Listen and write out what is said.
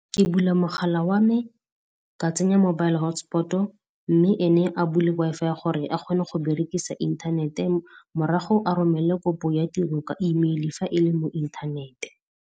Ke bula mogala wa me, ka tsenya mobile hotspot-o, mme ene a bule Wi-Fi gore a kgone go berekisa inthanete, morago a romele kopo ya tiro ka e-mail fa e le mo inthanete.